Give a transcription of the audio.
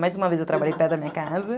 Mais uma vez eu trabalhei perto da minha casa.